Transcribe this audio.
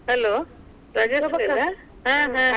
Hello Rajashree ?